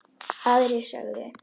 Aðrir sögðu: